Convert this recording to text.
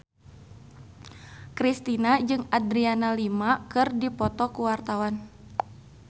Kristina jeung Adriana Lima keur dipoto ku wartawan